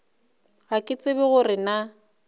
ga ke tsebe gore na